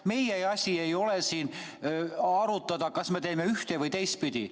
Meie asi ei ole siin arutada, kas me teeme ühte- või teistpidi.